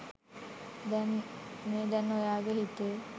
මේ දැන් ඔයාගෙ හිතේ